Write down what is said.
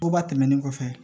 Oba tɛmɛnen kɔfɛ